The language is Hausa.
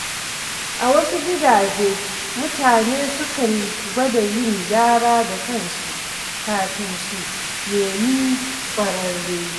A wasu gidaje, mutane sukan gwada yin gyara da kansu kafin su nemi ƙwararre.